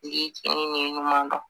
Ɲuman dɔn